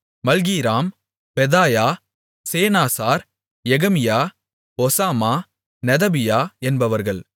Malchiram Pedaiah Shenazar Jecamiah Hoshama Nedabiah என்பவர்கள்